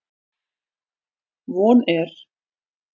Von er